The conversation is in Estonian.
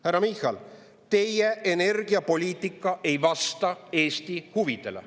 Härra Michal, teie energiapoliitika ei vasta Eesti huvidele.